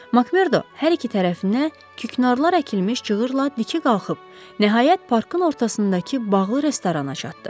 Makmerdo hər iki tərəfinə küknarlar əkilmiş cığırla dikə qalxıb, nəhayət parkın ortasındakı bağlı restorana çatdı.